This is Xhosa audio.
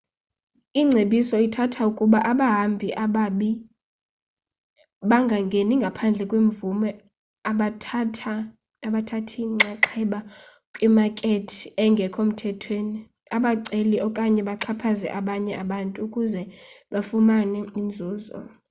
ingcebiso ithatha ukuba abahambi ababi bengangeni ngaphandle kwemvume abathathi nxaxheba kwimakethi engekho mthethweni abaceli okanye baxhaphaze abanye abantu ukuze bafumane inzuzo